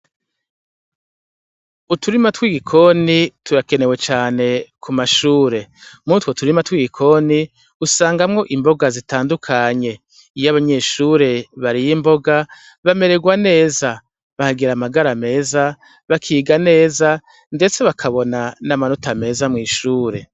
Uturima tw'igikoni turakenewe cane ku mashure. Muri utwo turima tw'igikoni, usangamwo imboga zitandukanye. Iyo abanyeshure bariye imboga, bamererwa neza, bahagira amagara meza, bakiga neza, ndetse bakabona n'amanota meza mw'ishure.